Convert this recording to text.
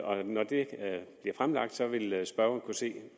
og når det bliver fremlagt vil spørgeren kunne se